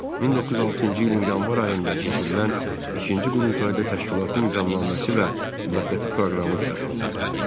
1906-cı ilin yanvar ayında keçirilən ikinci qurultayda təşkilatın nizamnaməsi və müvəqqəti proqramı qəbul olundu.